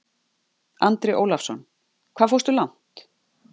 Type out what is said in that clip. Andri Ólafsson: Hvað fórstu langt?